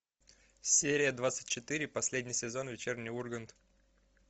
серия двадцать четыре последний сезон вечерний ургант